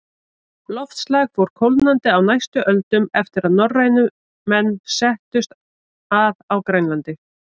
Loftslag fór kólnandi á næstu öldum eftir að norrænir menn settust að á Grænlandi.